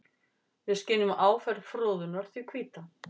Við skynjum áferð froðunnar því hvíta.